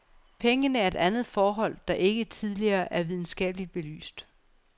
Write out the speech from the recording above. Pengene er et andet forhold, der ikke tidligere er videnskabeligt belyst.